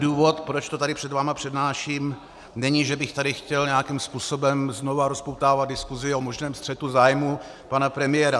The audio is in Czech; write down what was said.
Důvod, proč to tady před vámi přednáším, není, že bych tady chtěl nějakým způsobem znovu rozpoutávat diskusi o možném střetu zájmů pana premiéra.